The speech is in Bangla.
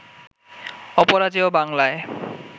অপরাজেয় বাংলায়